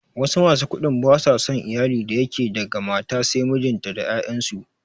Wasu masu kuɗin ba su son iyalin da yake daga mata sai mijinta da 'ya'yansu.